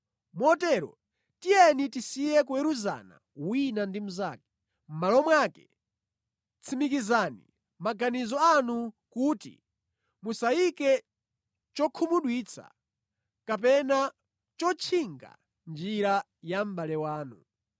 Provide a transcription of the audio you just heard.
Motero, tiyeni tisiye kuweruzana wina ndi mnzake. Mʼmalo mwake, tsimikizani mʼmaganizo anu kuti musayike chokhumudwitsa kapena chotchinga mʼnjira ya mʼbale wanu.